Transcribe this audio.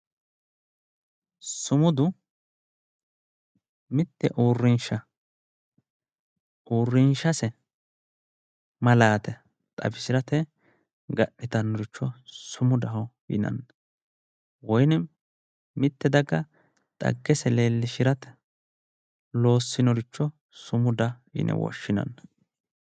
sumudu mitte uurrinsha uurrinshase malaate xawisirate ga'nitannoricho sumudaho yinanni woyinim mitte daga xaggese leellishshirate loossinoricho sumuda yine woshshinanni.